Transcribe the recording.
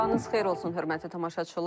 Sabahınız xeyir olsun, hörmətli tamaşaçılar.